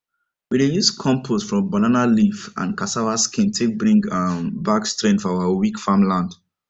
we dey use compost from banana leaf and cassava skin take bring um back strength for our weak farm land